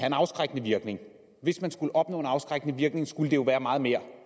en afskrækkende virkning hvis man skulle opnå en afskrækkende virkning skulle det jo være meget mere